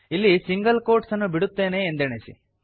ಇಲ್ಲಿ single quotes ಅನ್ನು ಬಿಡುತ್ತೇನೆ ಎಂದೆಣಿಸಿ